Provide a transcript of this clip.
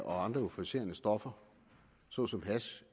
og andre euforiserende stoffer såsom hash